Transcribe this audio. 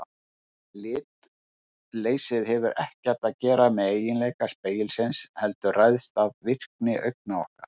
En litleysið hefur ekkert að gera með eiginleika spegilsins heldur ræðst af virkni augna okkar.